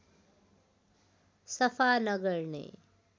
सफा नगर्ने